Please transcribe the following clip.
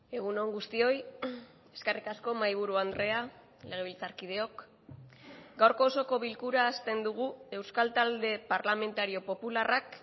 egun on guztioi eskerrik asko mahaiburu andrea legebiltzarkideok gaurko osoko bilkura hasten dugu euskal talde parlamentario popularrak